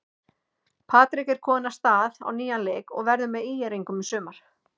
Patrik er kominn af stað á nýjan leik og verður með ÍR-ingum í sumar.